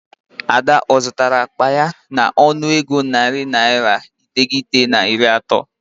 Ada ọ zụtara akpa ya n'ọnụego naira narị iteghete na iri atọ?